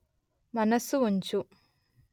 మనస్సు ఉంచు